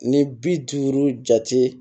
Ni bi duuru jate